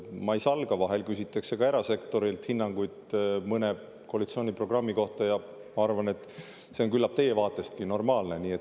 Ma ei salga, vahel küsitakse ka erasektorilt hinnangut mõne koalitsiooniprogrammi kohta, ja ma arvan, et küllap see on teiegi vaatest normaalne.